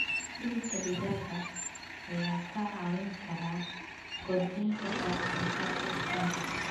Hilibka digaaga ayaa kaa caawin kara kordhinta wax soo saarka ukunta.